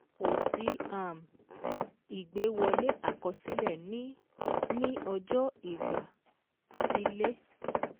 Kò sí um ìgbé wọlé àkọsílẹ̀ ní ní ọjọ́ ìgbà-sílè